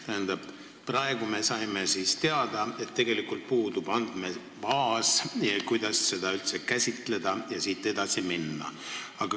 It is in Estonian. Tähendab, praegu me saime siis teada, et tegelikult puudub andmebaas, millele toetudes saaks seda probleemi käsitleda ja edasi minna.